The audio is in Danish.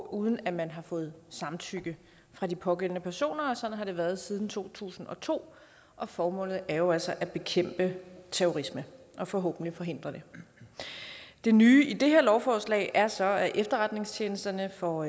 uden at man har fået samtykke fra de pågældende personer sådan har det været siden to tusind og to og formålet er jo altså at bekæmpe terrorisme og forhåbentlig forhindre det det nye i det her lovforslag er så at efterretningstjenesterne får